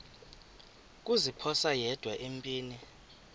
kuziphosa yedwa empini